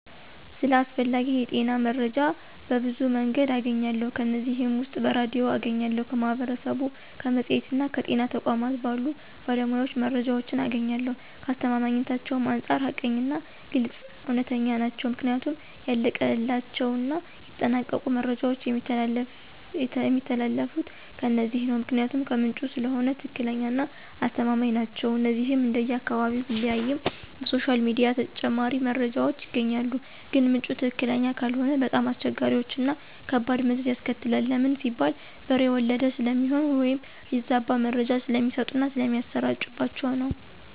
ስለ አስፈላጊ የጤና መረጃዎች በብዙ መንገድ አገኛለሁ ከነዚህም ውስጥ በሬድዮ አገኛለሁ፣ ከማህበረሰቡ፣ በመፅሔትና ከጤና ተቋማት ባሉ ባለሞያዎች መረጃዎችን አገኛለሁኝ፣ ከአስተማማኝነታቸውም አንፃር ሀቀኛና ግልፅ፣ እውነተኛ ናቸው ምክንያቱም ያለቀላቸውና የተጠናቀቁ መረጃዎች የሚተላለፊት ከነዚህ ነው ምክንያቱም ከምንጩ ስለሆነ ትክክለኛና አስተማማኝ ናቸው። እነዚህንም እንደየ አካባቢው ቢለያይም በሶሻል ሚዲያ ተጨማሪ መረጃዎች ይገኛሉ ግን ምንጩ ትክክለኛ ካልሆነ በጣም አስቸጋሪዎችና ከባድ መዘዝ ያስከትላል ለምን ሲባል በሬ ወለደ ስለሚሆን ወይም የተዛባ መረጃ ስለሚሰጡና ስለሚሰራጭባቸው ነው።